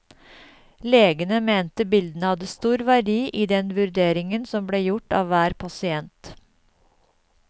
Legene mente bildene hadde stor verdi i den vurderingen som ble gjort av hver pasient.